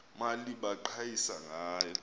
mali baqhayisa ngayo